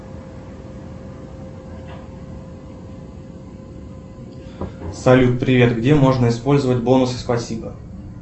салют привет где можно использовать бонусы спасибо